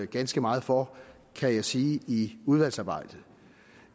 ganske meget for kan jeg sige i udvalgsarbejdet